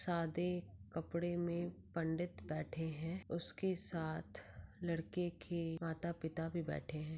सादे कपडे में पंडित बैठे हैं उसके साथ लड़के के माता-पिता भी बैठे हैं।